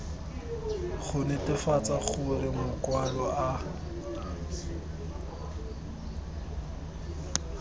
go netefatsa gore makwalo a